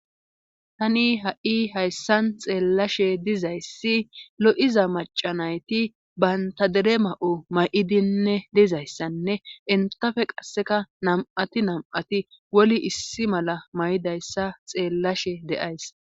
tani ha'i hayssan xeellashe dizayssi lo'iza macanayti bayntadere ma7o ma7idinne dizayssanne entafe qasseka nam'ati nam7ati woli issi mala may'idayssa xeellashe de'ays